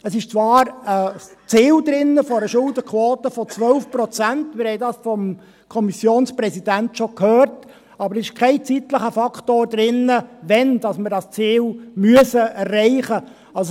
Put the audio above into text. Es ist zwar ein Ziel einer Schuldenquote von 12 Prozent enthalten – wir haben dies vom Kommissionspräsidenten schon gehört –, aber es ist kein zeitlicher Faktor enthalten, wann wir dieses Ziel erreichen müssen.